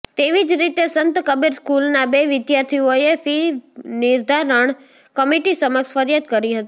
તેવી જ રીતે સંત કબીર સ્કૂલના બે વિદ્યાર્થીઓએ ફી નિર્ધારણ કમિટી સમક્ષ ફરીયાદ કરી હતી